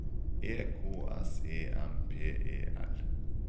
E K S E M P E L